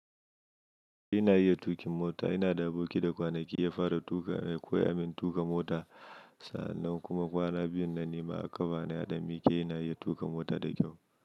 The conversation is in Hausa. Ina iya tuƙin mota, ina da aboki da kwanaki ya fara koyamin tuƙa mota. Kuma kwana biyun nan ne ma a aka ba da mikiya, ina iya tuƙa mota da kyau.